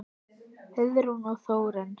Heiðrún og Þórunn.